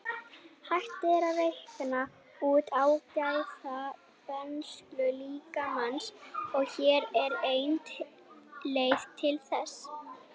Hægt er að reikna út áætlaða brennslu líkamans og hér er ein leið til þess.